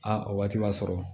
A o waati b'a sɔrɔ